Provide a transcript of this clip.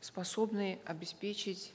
способны обеспечить